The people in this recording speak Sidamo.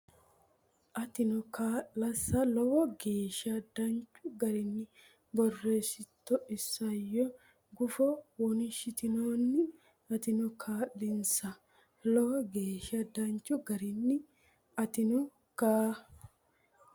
Atino kaa linsa Lowo geeshsha danchu garinni borreessitu isayyo gufo wonshitinoonni Atino kaa linsa Lowo geeshsha danchu garinni Atino kaa.